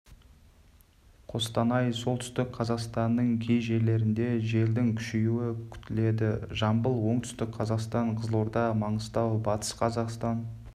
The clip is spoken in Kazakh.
қостанай солтүстік қазақстанның кей жерлерінде желдің күшеюі күтіледі жамбыл оңтүстік қазақстан қызылорда маңғыстау батыс қазақстан